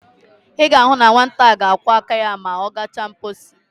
I ga-ahu na nwata a ga-akwo aka ya ma o gacha nposi.